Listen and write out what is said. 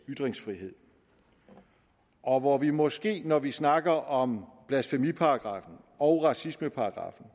ytringsfrihed og hvor vi måske når vi snakker om blasfemiparagraffen og racismeparagraffen